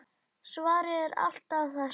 Svarið er alltaf það sama.